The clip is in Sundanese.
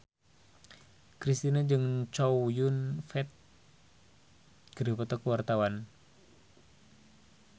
Kristina jeung Chow Yun Fat keur dipoto ku wartawan